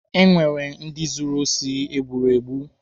Enwere ndị zuru osi e gburu egbu.